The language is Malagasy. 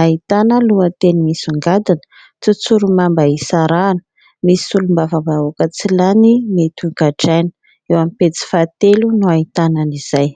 ahitana lohateny misongadina : "tsotsorimamba isarahana, misy solombavambahoaka tsy lany mety hogadraina..." Eo amin'ny pejy fahatelo no ahitana izay.